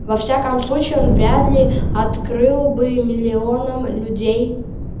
во всяком случае он вряд ли открыл бы миллионам людей